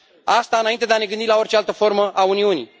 Asta înainte de a ne gândi la orice altă formă a Uniunii.